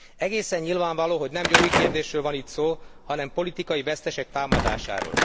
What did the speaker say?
Egészen nyilvánvaló, hogy nem jogi kérdésről van itt szó, hanem a politikai vesztesek támadásáról.